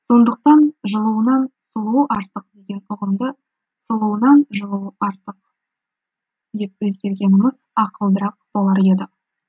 сондықтан жылуынан сұлуы артық деген ұғымды сұлуынан жылуы артық деп өзгергеніміз ақылдырақ болар еді